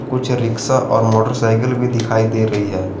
कुछ रिक्शा और मोटरसाइकिल भी दिखाई दे रही है।